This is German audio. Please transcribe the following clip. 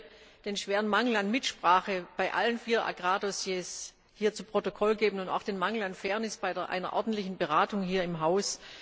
Ich möchte den schweren Mangel an Mitsprache bei allen vier Agrar Dossiers hier zu Protokoll geben und auch den Mangel an Fairness in Bezug auf eine ordentliche Beratung hier im Haus.